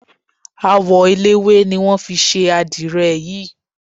Àwọ eléwé ni wọ́n fi ṣe àdirẹ̀ yìí.